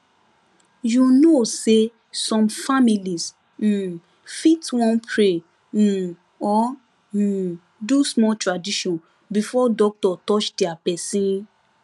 you know say some families um fit wan pray um or um do small tradition before doctor touch their person